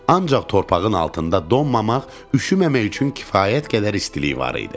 Ancaq torpağın altında donmamaq, üşüməmək üçün kifayət qədər istilik var idi.